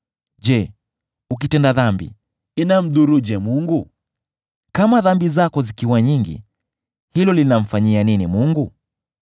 Je, ukitenda dhambi, inamdhuruje Mungu? Kama dhambi zako zikiwa nyingi, hilo linamfanyia nini Mungu?